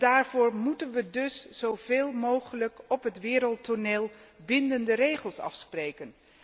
Daarvoor moeten we dus zo veel mogelijk op het wereldtoneel bindende regels afspreken.